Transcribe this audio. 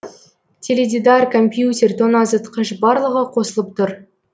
теледидар компьютер тоңазытқыш барлығы қосылып тұр